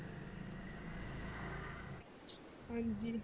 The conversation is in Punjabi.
ਹਾਂਜੀ